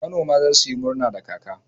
Manoma za su yi murna da kaka